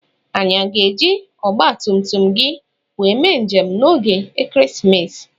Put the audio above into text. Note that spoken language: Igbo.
Anyị aga eji ogbatumtum gị wee mee njem na ógè ekeresimesi?